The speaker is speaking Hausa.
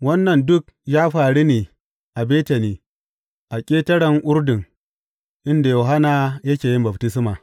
Wannan duk ya faru ne a Betani a ƙetaren Urdun, inda Yohanna yake yin baftisma.